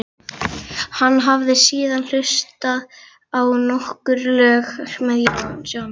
Hann hafði síðan hlustað á nokkur lög með John